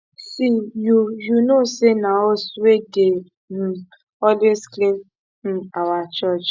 see you you no know say na us wey dey um always clean um our church